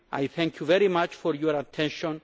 Thank you very much for your attention.